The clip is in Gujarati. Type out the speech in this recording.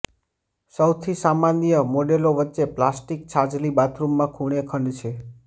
સૌથી સામાન્ય મોડેલો વચ્ચે પ્લાસ્ટિક છાજલી બાથરૂમમાં ખૂણે ખંડ છે